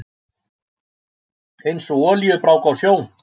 Einsog olíubrák á sjó.